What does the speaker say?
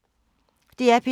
DR P2